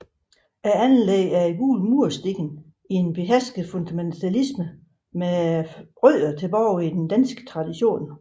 Anlægget er i gule mursten i en behersket funktionalisme med rødder i dansk tradition